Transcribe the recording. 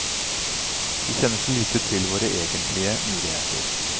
Vi kjenner så lite til våre egentlige muligheter.